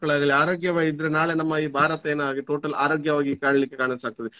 ಹೆಣ್ ಮಕ್ಳ್ಲಾಗ್ಲಿ ಆರೋಗ್ಯವಾಗಿದ್ರೆ ನಾಳೆ ನಮ್ಮ ಈ ಭಾರತ ಏನಾ~ total ಆರೋಗ್ಯವಾಗಿ ಕಾಣ್ಲಿಕ್ಕೆ ಕಾರಣ ಸ ಆಗ್ತದೆ.